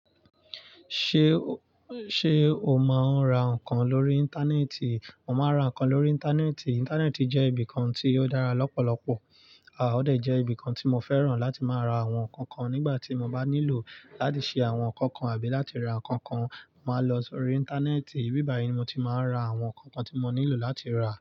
Ṣe o, ṣe o máa ń ra nǹkan lórí Íńtánẹ́ẹ̀tì? Mo máa ń ra nǹkan lórí Íńtánẹ́ẹ̀tì. Íńtánẹ́ẹ̀tì jẹ́ ibìkan tí ó dára lọ́pọ̀lọpọ̀, o de jẹ́ ibìkan tí mo fẹ́ràn láti máa ra àwọn nǹkan kan nígbà tí mo bá nílò láti ṣe àwọn nǹkan kan àbí láti ra nǹkan kan. Mo máa lọ sórí Íńtánẹ́ẹ̀tì, ibi bayìí ni mo ti máa ń ra àwọn nǹkan kan tí mo nílò láti rà.